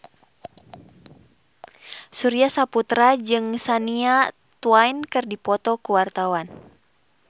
Surya Saputra jeung Shania Twain keur dipoto ku wartawan